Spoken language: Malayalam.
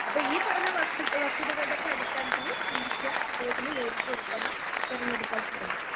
അപ്പൊ ഈ പറഞ്ഞ വസ്തുക്ക വസ്തുതകളുടെയൊക്കെ അടിസ്ഥാനത്തില് ചിന്തിക്കുക അതുപോലെതന്നെ യോജിച്ച ഉൽപ്പന്നം തെരഞ്ഞെടുക്കാൻ ശ്രമിക്കുക.